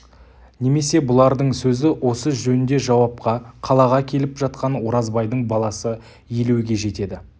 немесе бұлардың сөзі осы жөнде жауапқа қалаға келіп жатқан оразбайдың баласы елеуге жетеді